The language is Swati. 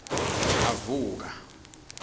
avuka